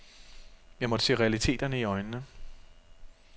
Jeg måtte se realiteterne i øjnene.